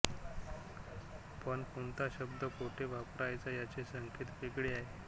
पण कोणता शब्द कोठे वापरावयाचा याचे संकेत वेगळे आहेत